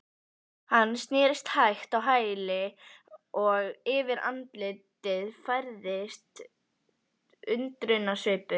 Hann snerist hægt á hæli og yfir andlitið færðist undrunarsvipur.